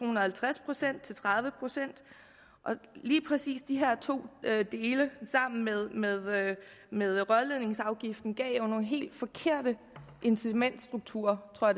og halvtreds procent til tredive procent lige præcis de her to dele sammen med med rørledningsafgiften gav jo nogle helt forkerte incitamentsstrukturer tror